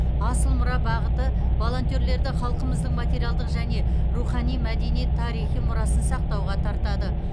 асыл мұра бағыты волонтерлерді халқымыздың материалдық және рухани мәдени тарихи мұрасын сақтауға тартады